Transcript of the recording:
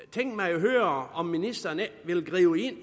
tænke mig at høre om ministeren ikke vil gribe ind